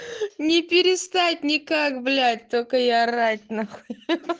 не перестать никак блять только я орать на хуй